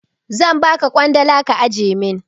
Zan ba ka ƙwandala ka ajiye min.